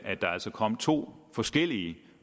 at der altså kom to forskellige